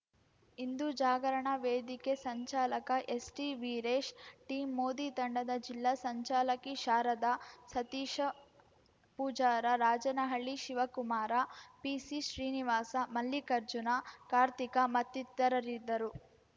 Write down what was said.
ಹಿಂದೂ ಜಾಗರಣ ವೇದಿಕೆ ಸಂಚಾಲಕ ಎಸ್‌ಟಿವೀರೇಶ್ ಟೀಂ ಮೋದಿ ತಂಡದ ಜಿಲ್ಲಾ ಸಂಚಾಲಕಿ ಶಾರದ ಸತೀಶ ಪೂಜಾರ ರಾಜನಹಳ್ಳಿ ಶಿವಕುಮಾರ ಪಿಸಿಶ್ರೀನಿವಾಸ ಮಲ್ಲಿಕಾರ್ಜುನ ಕಾರ್ತಿಕ ಮತ್ತಿತರರಿದ್ದರು